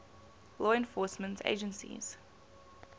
law enforcement agencies